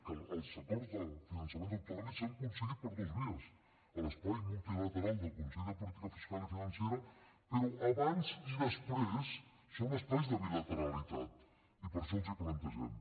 que els acords de finançament autonòmic s’han aconseguit per dues vies a l’espai multilateral del consell de política fiscal i financera però abans i després són espais de bilateralitat i per això els hi plantegem